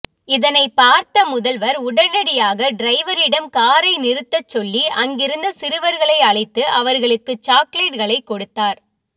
இதனை பார்த்த முதல்வர் உடனடியாக டிரைவரிடம் காரை நிறுத்தச் சொல்லி அங்கிருந்த சிறுவர்களை அழைத்து அவர்களுக்கு சாக்லேட்டுகளை கொடுத்தார்